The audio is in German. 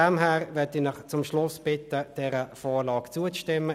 Daher möchte ich Sie zum Schluss bitten, dieser Vorlage zuzustimmen.